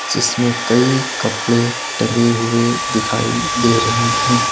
जिसमें कई कपड़े टंगे हुए दिखाई दे रहे है।